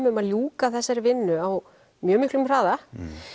um að ljúka þessari vinnu á mjög miklum hraða